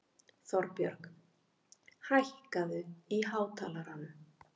Þorbjörg, hækkaðu í hátalaranum.